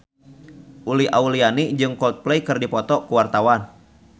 Uli Auliani jeung Coldplay keur dipoto ku wartawan